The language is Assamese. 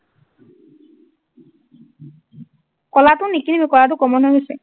কলাটো নিকিনিবি, কলাটো common হৈ গৈছে।